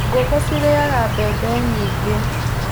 Ngũkũ cirarĩaga mbembe nyingĩ.